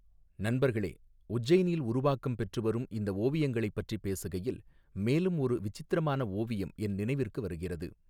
நண்பர்களே, உஜ்ஜைனில் உருவாக்கம் பெற்று வரும் இந்த ஓவியங்களைப் பற்றிப் பேசுகையில், மேலும் ஒரு விசித்திரமான ஓவியம் என் நினைவிற்கு வருகிறது.